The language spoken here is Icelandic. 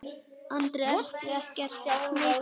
Andri: Ertu ekkert smeykur?